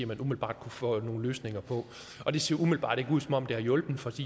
man umiddelbart kunne få nogle løsninger for og det ser umiddelbart ikke ud som om det har hjulpet for